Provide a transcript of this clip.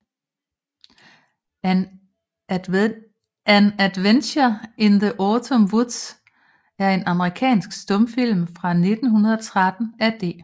An Adventure in the Autumn Woods er en amerikansk stumfilm fra 1913 af D